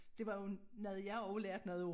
Det var jo noget jeg også lærte noget af